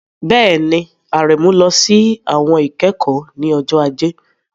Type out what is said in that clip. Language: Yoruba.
Bẹ́ẹ̀ni, Aremeu lọ sí àwọn ìkẹ́kọ̀ọ́ ní ọjọ́ Ajé.